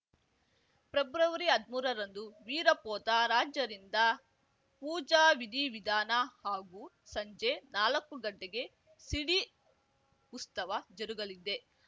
ಪ್ರೆಬ್ರವರಿಹದ್ಮೂರರಂದು ವಿರಪೋತ ರಾಜರಿಂದ ಪೂಜಾವಿಧಿವಿಧಾನ ಹಾಗೂ ಸಂಜೆ ನಾಲಕ್ಕು ಗಂಟೆಗೆ ಸಿಡಿ ಉಸ್ಟೇವ ಜರುಗಲಿದೆ